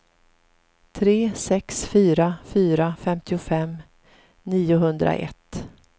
tre sex fyra fyra femtiofem niohundraett